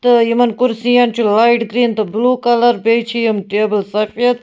تہٕ یِمن کُرسین چُھ لایٹ گریٖن تہٕ بِلوٗ کلر بیٚیہِ چھ یِم ٹیبل سفید